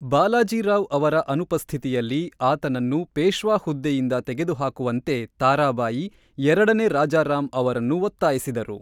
(ಬಾಲಾಜಿ ರಾವ್) ಅವರ ಅನುಪಸ್ಥಿತಿಯಲ್ಲಿ, ಆತನನ್ನು ಪೇಶ್ವಾ ಹುದ್ದೆಯಿಂದ ತೆಗೆದುಹಾಕುವಂತೆ ತಾರಾಬಾಯಿ ಎರಡನೇ ರಾಜಾರಾಮ್ ಅವರನ್ನು ಒತ್ತಾಯಿಸಿದರು.